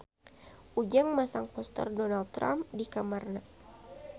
Ujang masang poster Donald Trump di kamarna